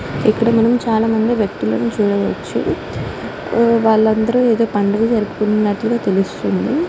ఇక్కడ మనం చాల మంది వ్యక్తులును చూడవచు వాళ్ళు అందరు ఏదో పండుగ జరుపుతున్నటుగా తెలుస్తుంది.